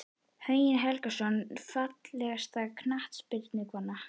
Högni Helgason Fallegasta knattspyrnukonan?